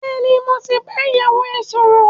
Bẹ́ẹ̀ni, mo ti bá ìyàwó ẹ sọ̀rọ̀